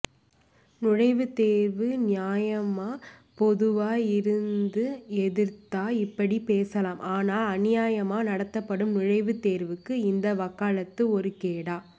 நுழைவுத்தேர்வு நியாயமா பொதுவா இருந்து எதிர்த்தா இப்படி பேசலாம் ஆனால் அநியாயமா நடத்தப்படும் நுழைவுத்தேர்வுக்கு இந்த வக்காளத்து ஒரு கேடா